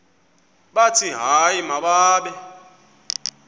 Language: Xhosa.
bathi hayi mababe